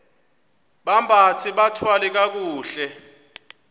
bambathe bathwale kakuhle